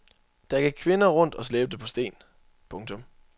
Der gik kvinder rundt og slæbte på sten. punktum